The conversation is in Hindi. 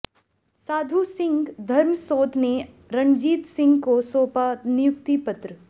साधू सिंह धर्मसोत ने रणजीत सिंह को सौंपा नियुक्ति पत्र